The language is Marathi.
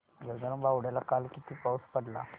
गगनबावड्याला काल किती पाऊस पडला